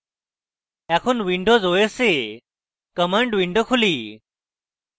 এখন windows os এ command window খুলি